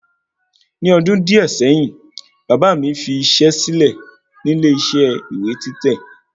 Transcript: Ni ọdún díẹ̀ sẹ́yìn, bàbà mi fi isẹ́ sílè nílé isẹ́ ìwé títẹ̀